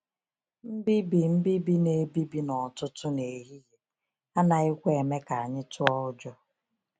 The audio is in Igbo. ‘Mbibi ‘Mbibi na-ebibi n’ọtụtụ n’ehihie’ anaghịkwa eme ka anyị tụọ ụjọ.